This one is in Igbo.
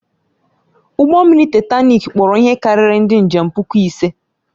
Ụgbọ mmiri Taịtanik kpọrọ ihe karịrị ndị njem puku ise.